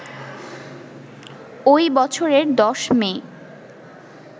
ওই বছরের ১০ মে